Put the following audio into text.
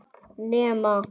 Nema trýnið.